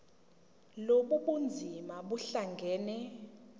lobu bunzima buhlangane